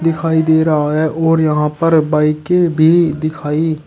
दिखाई दे रहा है और यहां पर बाइकें भी दिखाई--